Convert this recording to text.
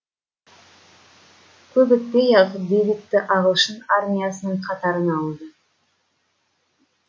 көп өтпей ақ дэвидті ағылшын армиясының қатарына алды